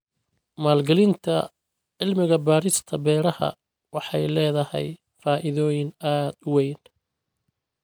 Maalgelinta cilmi-baarista beeraha waxay leedahay faa'iidooyin aad u weyn.